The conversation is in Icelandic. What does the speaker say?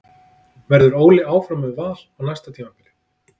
Verður Óli áfram með Val á næsta tímabili?